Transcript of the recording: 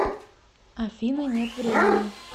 афина нет времени